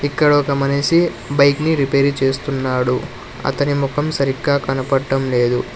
ఇక్కడ ఒక మనిషి బైక్ ని రిపేర్ చేస్తున్నాడు అతని ముఖం సరిగ్గా కనపడటం లేదు.